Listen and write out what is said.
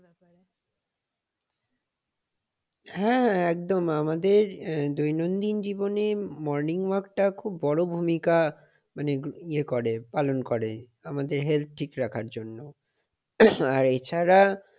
হ্যাঁ। একদম আমাদের দৈনন্দিন জীবনে morning walk টা খুব বড় ভূমিকা মানে ইয়ে করে মানে পালন করে আমাদের health ঠিক রাখার জন্য। আর এছাড়া,